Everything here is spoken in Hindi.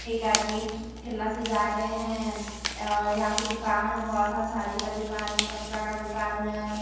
एक आदमी ठेला से जा रहें हैं। अ यहाँ पे दुकान है बहुत सारा साड़ी का दुकान है कपडा का दुकान है।